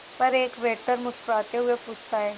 पर एक वेटर मुस्कुराते हुए पूछता है